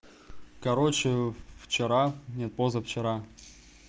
короче вчера нет позавчера